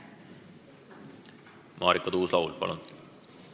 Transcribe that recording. Marika Tuus-Laul, palun!